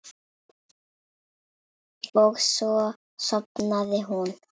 Og svo sofnaði hún.